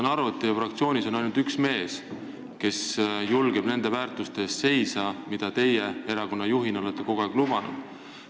Ma saan aru, et teie fraktsioonis on ainult üks mees, kes julgeb nende väärtuste eest seista, mida teie erakonnajuhina olete kogu aeg lubanud.